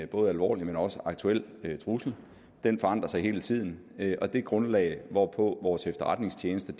både alvorlig og aktuel trussel den forandrer sig hele tiden og det grundlag hvorpå vores efterretningstjenester